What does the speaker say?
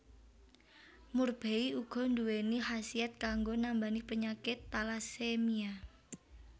Murbei uga nduwéni khasiat kanggo nambani penyakit talasemia